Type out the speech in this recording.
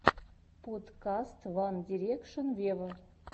подкаст ван дирекшен вево